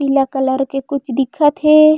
नीला कलर के कुछ दिखत हे।